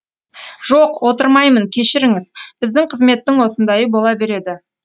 жоқ отырмаймын кешіріңіз біздің қызметтің осындайы бола береді